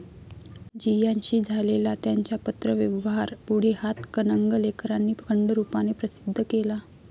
जियान ' शी झालेला त्यांचा पत्रव्यवहार पुढे हातकणंगलेकरांनी खंडरूपाने प्रसिद्ध केला.